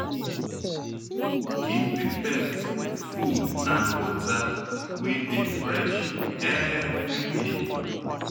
Give di pet food and water wey dey fresh everyday